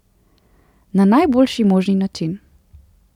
Na najboljši možni način.